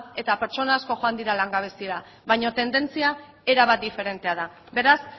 eta pertsona asko joan dira langabezira baina tendentzia erabat diferentea da beraz